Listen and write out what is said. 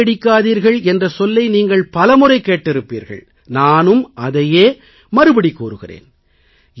காப்பியடிக்காதீர்கள் என்ற சொல்லை நீங்கள் பலமுறை கேட்டிருப்பீர்கள் நானும் அதையே மறுபடி கூறுகிறேன்